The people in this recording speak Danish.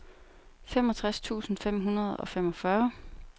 femogtres tusind fem hundrede og femogfyrre